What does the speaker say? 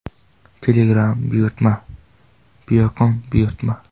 Telegram buyurtma: Biokon buyurtma .